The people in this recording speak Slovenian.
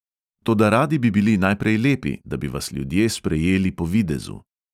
Toda radi bi bili najprej lepi, da bi vas ljudje sprejeli po videzu.